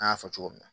An y'a fɔ cogo min na